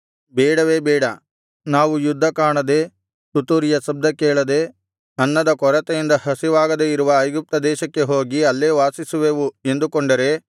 ಬೇಡವೇ ಬೇಡ ನಾವು ಯುದ್ಧ ಕಾಣದೆ ತುತ್ತೂರಿಯ ಶಬ್ದ ಕೇಳದೆ ಅನ್ನದ ಕೊರತೆಯಿಂದ ಹಸಿವಾಗದೆ ಇರುವ ಐಗುಪ್ತ ದೇಶಕ್ಕೆ ಹೋಗಿ ಅಲ್ಲೇ ವಾಸಿಸುವೆವು ಎಂದುಕೊಂಡರೆ